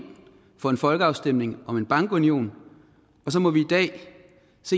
for en folkeafstemning om en bankunion og så må vi